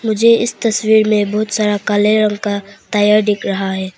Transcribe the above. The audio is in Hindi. मुझे इस तस्वीर में बहुत सारा काले रंग का टायर दिख रहा है।